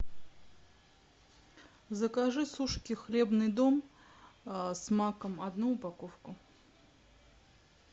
закажи сушки хлебный дом с маком одну упаковку